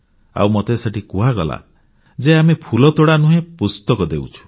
ଆଉ ମତେ ସେଠି କୁହାଗଲା ଯେ ଆମେ ଫୁଲତୋଡ଼ା ନୁହେଁ ପୁସ୍ତକ ଦେଉଛୁ